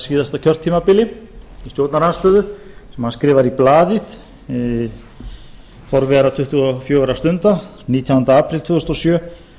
síðasta kjörtímabili í stjórnarandstöðu sem hann skrifar í blaðið forvera tuttugu og fjögurra stunda nítjánda apríl tvö þúsund og sjö